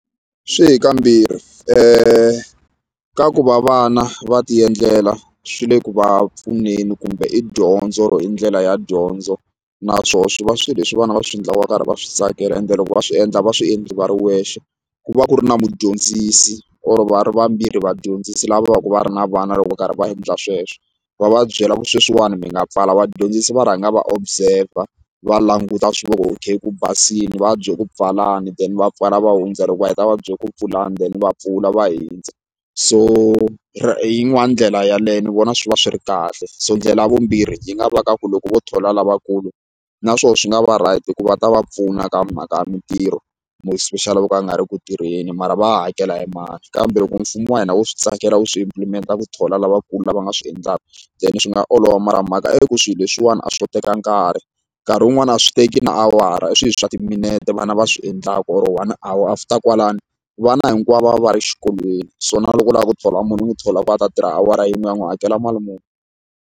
Swi hi kambirhi ka ku va vana va ti endlela swi le ku va pfuneni kumbe i dyondzo or i ndlela ya dyondzo naswoho swi va swi leswi vana va swi endlaka va karhi va swi tsakela ende loko va swi endla va swi endli va ri wexe ku va ku ri na mudyondzisi or va ri vambirhi vadyondzisi lava vo ka va ri na vana loko va karhi va endla sweswo va va byela ku sweswiwani mi nga pfala vadyondzisi va rhanga va observer va languta okay ku basile va va byela ku pfalani then va pfala va hundza loko va heta va bye ku pfulani then va pfula va hundza so hi yin'wani ndlela yaleyo ni vona swi va swi ri kahle so ndlela ya vumbirhi yi nga va ka ku loko vo thola lavakulu naswona swi nga va right hi ku va ta va pfuna ka mhaka ya mintirho more especially ka lava nga ri ku tirheni mara va hakela hi mani kambe loko mfumo wa hina wo swi tsakela wu swi implement-a ku thola lavakulu lava va nga swi endlaka then swi nga olova mara mhaka i ku swilo leswiwani a swi teki nkarhi nkarhi wun'wani a swi teki na awara i swilo swa timinete vana va swi endlaka or one hour after kwalano vana hinkwavo va ri xikolweni so na loko u lava ku thola munhu un'we thola ku a ta tirha awara yin'we u ya n'wi hakela mali muni.